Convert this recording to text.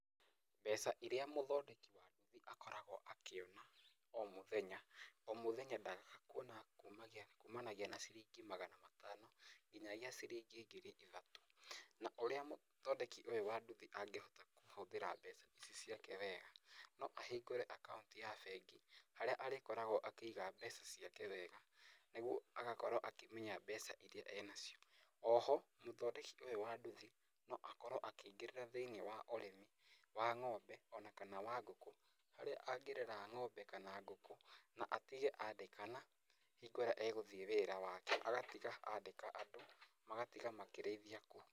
Mbeca iria mũthondeki wa nduthi akoragwo akĩona o mũthenya, o mũthenya ndagaga kuona kumagia, kumanagia na ciringi magana matano nginyagia ciringi ngiri ithatũ, na ũrĩa mũthondeki ũyũ wa nduthi angĩhota kũhũthĩra mbeca ici ciake wega no ahingũre account ya bengi, harĩa arĩkoragwo akĩiga mbeca ciake wega, nĩguo agakoragwo akĩmenya mbeca iria enacio, oho, mũthondeki ũyũ wa nduthi noakorwo akĩingĩrĩra thĩ-inĩ wa ũrĩmi, wa ng'ombe ona kana wa ngũkũ, harĩa angĩrera ng'ombe ona kana ngũkũ, na atige andĩkana hingo ĩrĩa agũthiĩ wĩra wake agatiga andĩka andũ, magatiga makĩrĩthia kũu.